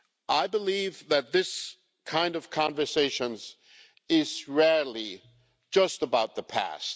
I believe that these kinds of conversations are rarely just about the past.